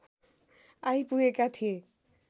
आइपुगेका थिए